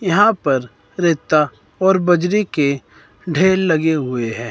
यहां पर रेता और बजरी के ढेर लगे हुए है।